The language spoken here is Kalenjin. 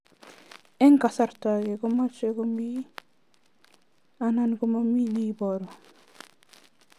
Eng' kasarta ag'e ko much ko mii anan komamii ne ibaru